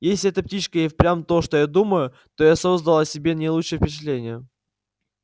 если эта птичка и впрямь то что я думаю то я создал о себе не лучшее впечатление